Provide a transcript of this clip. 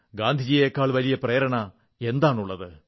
ഗാന്ധിജിയേക്കാൾ വലിയ പ്രേരണ എന്താണുള്ളത്